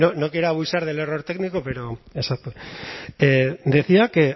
no quiero abusar del error técnico pero decía que